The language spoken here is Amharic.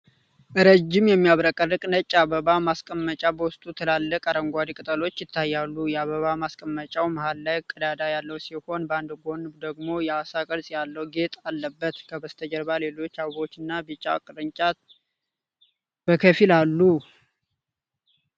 ረዥም፣ የሚያብረቀርቅ ነጭ የአበባ ማስቀመጫ በውስጡ ትላልቅ አረንጓዴ ቅጠሎች ይታያሉ። የአበባ ማስቀመጫው መሃል ላይ ቀዳዳ ያለው ሲሆን፣ በአንድ ጎኑ ደግሞ የዓሣ ቅርጽ ያለው ጌጥ አለበት። ከበስተጀርባ ሌሎች አበቦችና ቢጫ ቅርጫት በከፊል አሉ።